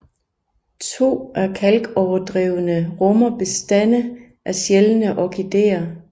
To af kalkoverdrevene rummer bestande af sjældne orkideer